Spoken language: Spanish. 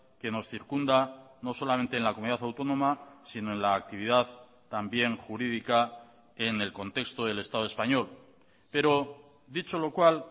que nos circunda no solamente en la comunidad autónoma sino en la actividad también jurídica en el contexto del estado español pero dicho lo cual